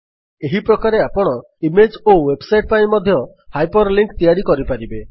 ଏହିପ୍ରକାରେ ଆପଣ ଇମେଜ୍ ଓ ୱେବସାଇଟ୍ ପାଇଁ ମଧ୍ୟ ହାଇପର୍ ଲିଙ୍କ୍ ତିଆରି କରିପାରିବେ